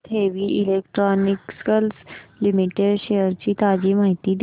Bharat heavy electricals limited shares ची ताजी माहिती दे